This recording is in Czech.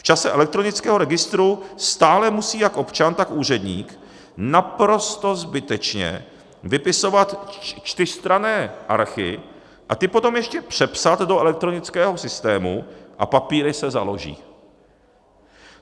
V čase elektronického registru stále musí jak občan, tak úředník naprosto zbytečně vypisovat čtyřstranné archy a ty potom ještě přepsat do elektronického systému a papíry se založí.